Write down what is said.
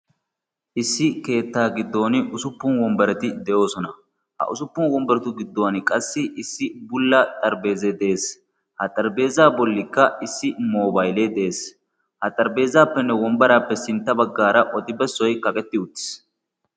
Issi keettaa giddon usuppun wombbarati de"oosona. Ha usuppun wombbaratu giddon issi bulla xarapheezzayi de"es. Ha xarapheezzaa bollikka issi moobayilee de"es. Ha xarapheezzaappenne wombbaraappe sintta baggaara odi bessiyi kaqetti uttis.